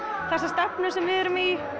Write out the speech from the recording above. þá stefnu sem við erum í